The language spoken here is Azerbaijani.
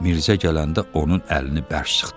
Mirzə gələndə onun əlini bərk sıxdı.